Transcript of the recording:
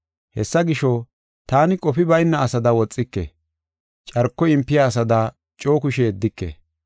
Hessa gisho, taani qofi bayna asada woxike. Carko yimpiya asada coo kushe yeddike.